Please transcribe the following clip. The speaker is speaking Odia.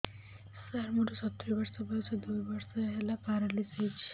ସାର ମୋର ସତୂରୀ ବର୍ଷ ବୟସ ଦୁଇ ବର୍ଷ ହେଲା ପେରାଲିଶିଶ ହେଇଚି